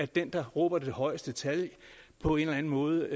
den der råber det højeste tal er på en eller anden måde